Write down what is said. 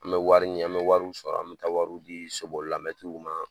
An bɛ wari ɲi an bɛ wariw sɔrɔ an bɛ taa wariw dii so bolila mɛtiriw ma